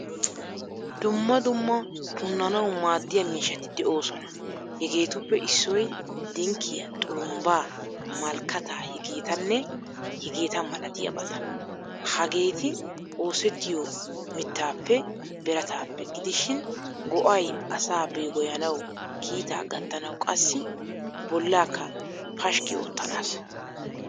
Dumma dumma punanawu maadiyaa miishshati deosona. Hegettuppe issoy dinkkiyaa, xurumbba, malkata hegetanne hegeta milatiyabata. Hagetti oosettiyo miittappe, birattappe gidishin go'ay asaa begoyaanawu, kiitaa gattanawu qassi bollaka pashki oottanasa.